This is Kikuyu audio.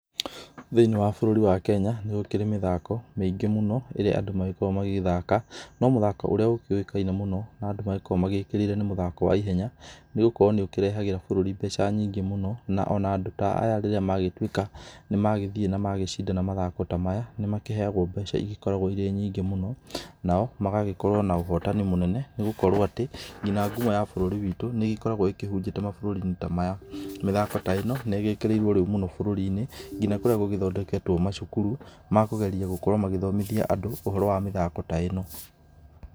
Thĩinĩ wa bũrũri wa kenya nĩgũkĩrĩ mĩthako mĩingĩ mũno ĩrĩa andũ magĩkoragwo magĩthaka no mũthako ũríĩ ũkĩũĩkaine mũno na andũ magĩkoragwo magĩkĩrĩire nĩ mũthako wa ihenya nĩgũkorwo nĩ ũkĩrehagĩra bũrũri mbeca nyingĩ mũno na ona andũ ta aya rĩrĩa magĩtuĩka nĩ magĩthiĩ na magĩcindana mathako ta maya, nĩ makĩheyagwo mbeca igĩkoragwo irĩ nyingĩ mũno nao magagĩkorwo na ũhotani mũnene nĩgũkorwo atĩ nginya ngumo ya bũrũri witũ nĩ ĩgĩkoragwo ihũnjĩte mabũrũri-inĩ ta maya, mĩthako ta ĩno nĩ ĩgĩkĩrĩirwo rĩu mũno bũrũri-inĩ nginya kũrĩa gũgĩthondeketwo macukuru makũgerĩa gũkorwo magĩthomithia andũ ũhoro wa mĩthako ta ĩno.